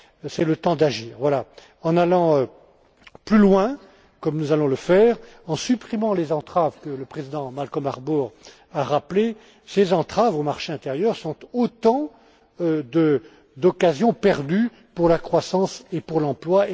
C'est le temps d'agir en allant plus loin, comme nous allons le faire, en supprimant les entraves que le Président Malcolm Harbour a rappelées. Ces entraves au marché intérieur sont autant d'occasions perdues pour la croissance et pour l'emploi.